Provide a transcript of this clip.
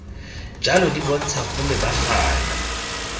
jalo di bontsha go lebagana